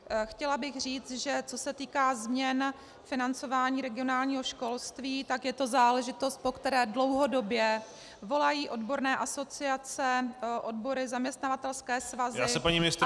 Chtěla bych říct, že co se týká změn financování regionálního školství, tak je to záležitost, po které dlouhodobě volají odborné asociace, odbory, zaměstnavatelské svazy, ale i školy samotné -